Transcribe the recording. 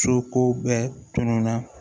Soko bɛɛ tununa